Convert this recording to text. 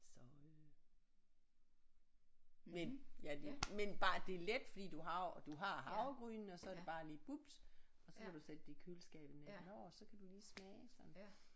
Så øh men ja det men bare det er let fordi du har jo du har havregrynene og så er det bare lige bubs og så kan du sætte det i køleskabet natten over så kan du lige smage sådan